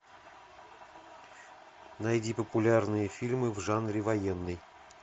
найди популярные фильмы в жанре военный